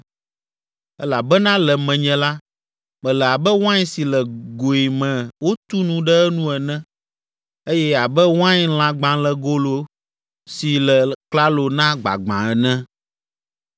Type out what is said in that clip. Elabena le menye la, mele abe wain si le goe me wotu nu ɖe enu ene eye abe wainlãgbalẽgolo si le klalo na gbagbã ene.